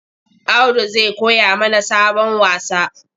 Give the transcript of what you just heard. Audu zai koya mana sabon wasa.